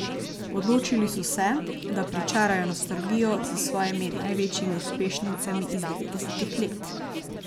Odločili so se, da pričarajo nostalgijo s svojimi največjimi uspešnicami iz devetdesetih let.